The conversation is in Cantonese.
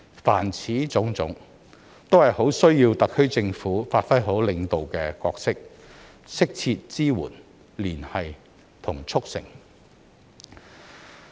凡此種種，都十分需要特區政府發揮好領導的角色，提供適切支援、連繫和促成其事。